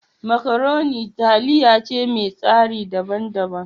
Makaroni taliya ce mai tsari daban daban.